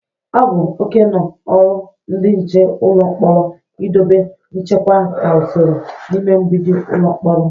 O bu okeno oru ndị nche ụlọ mkporo idobe nchekwa na usoro n'ime mgbidi ụlọ mkpọrọ.